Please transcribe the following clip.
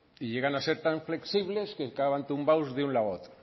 y llegan a ser tan flexibles que acaban tumbados de un lado a otro